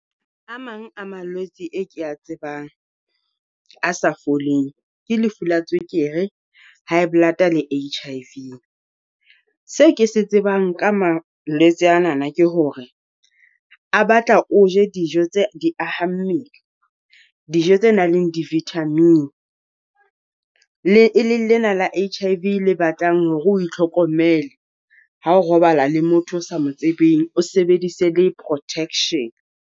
A mang a malwetsi e ke a tsebang a sa foleng ke lefu la tswekere, High Blood-a le H_I_V. Se ke se tsebang ka malwetse anana ke hore a batla o je dijo tse di aha mmele, dijo tse nang le di-vitamin. Le e leng lena la H_I_V le batlang hore o itlhokomele ha o robala le motho o sa mo tsebeng, o sebedise le protection.